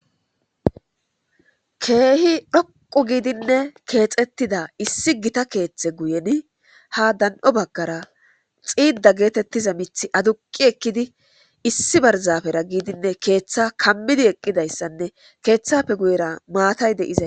Keehi dhoqqu giidinne keexettida issi gita keeththe guyen ha dan'o baggara xiida geetettiza miitjthi aduqi ekkidi issi barzafera giidinne keeththa kammidi eqqidayssanne keeththafe guyera maatay de'izassa